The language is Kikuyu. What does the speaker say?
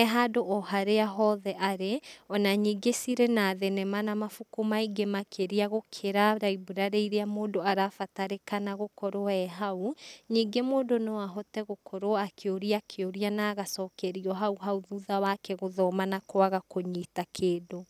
ehandũ oharia hothe arĩ ona nyingĩ cirĩ na thenema na mabuku maingĩ makĩrĩa gũkĩra library iria mũndũ arabatarĩkana gũkorwo ehau, ningĩ mũndũ noahote gũkorwo akĩũria kĩũria na agacokerio hau hau thutha wake gũthoma na kwaga kũnyita kĩndũ.